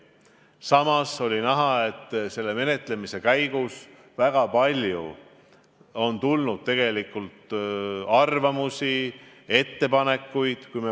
Samas oli näha, et menetlemise käigus on tulnud väga palju arvamusi ja ettepanekuid.